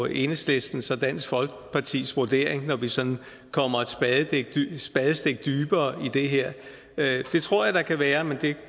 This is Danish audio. enhedslistens og dansk folkepartis vurdering når vi sådan kommer et spadestik dybere i det her det tror jeg der kan være men det